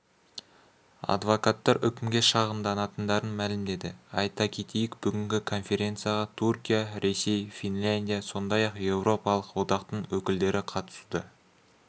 адвокаттар үкімге шағымданатындарын мәлімдеді айта кетейік бүгінгі конференцияға түркия ресей финляндия сондай-ақ еуропалық одақтың өкілдері қатысуда